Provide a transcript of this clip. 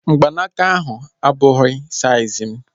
Mgbanaka ahu abụghị saiz mụ